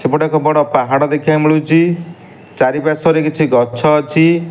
ସେପଟେ ଏକ ବଡ଼ ପାହାଡ଼ ଦେଖି ବାକୁ ମିଳୁଛି। ଚାରି ପାର୍ଶ୍ଵ ରେ କିଛି ଗଛ ଅଛି।